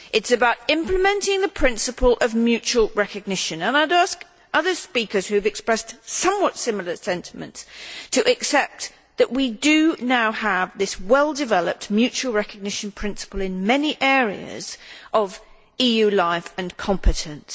This is about implementing the principle of mutual recognition. I would ask other speakers who have expressed somewhat similar sentiments to accept that we do now have a well developed mutual recognition principle in many areas of EU life and competence.